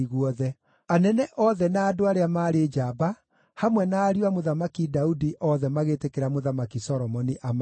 Anene othe, na andũ arĩa maarĩ njamba, hamwe na ariũ a Mũthamaki Daudi othe magĩtĩkĩra Mũthamaki Solomoni amaathage.